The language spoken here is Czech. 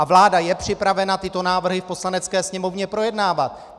A vláda je připravena tyto návrhy v Poslanecké sněmovně projednávat!